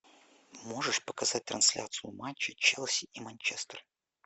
можешь показать трансляцию матча челси и манчестер